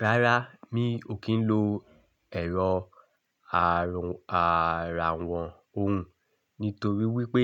Rárá, mi ò kí ń lo ẹ̀rọ ààrùn àràwọ̀ òun nítorí wípé